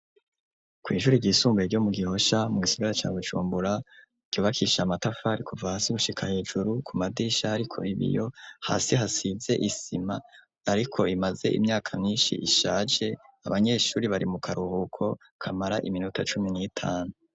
Kw'ishure ryisumbuye ryo mu Gihosha mu gisigara ca Bujumbura ryubakishije amatafari kuva hasi gushika hejuru ku madirisha hariko ibiyo, hasi hasize isima ariko imaze imyaka myinshi ishaje, abanyeshure bari mu karuhuko kamara iminota cumi n'itanu.